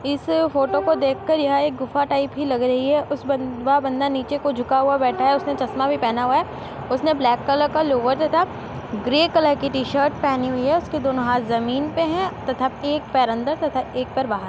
इस फ़ोटो को देखकर यह एक गुफा टाइप की लग रही है वह बंदा नीचे को झुका हुआ है उसने चश्मा भी पहना हुआ है ब्लैक कलर का लोअर तथा ग्रे कलर की टी-शर्ट पहनी है उसका दोनों हाथ ज़मीन पे है तथा एक पैर अंदर तथा एक पैर बाहर --